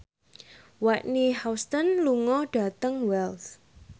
Whitney Houston lunga dhateng Wells